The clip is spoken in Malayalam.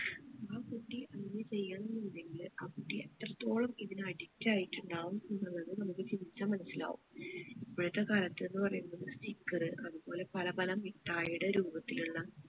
ആ കുട്ടി അങ്ങനെ ചെയ്യണം എന്നുണ്ടെങ്കിൽ ആ കുട്ടി എത്രത്തോളം ഇതിനു addict ആയിട്ടുണ്ടാവും എന്നുള്ളത് നമ്മുക് ചിന്തിച്ചാൽ മനസ്സിലാവും ഇപ്പോഴത്തെ കാലത്ത് എന്ന് പറയുന്നത് sticker അതുപോലെ പല പല മിഠായിയുടെ രൂപത്തിലുള്ള